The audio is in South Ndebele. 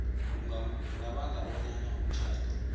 kungabanga bonyana umtjhado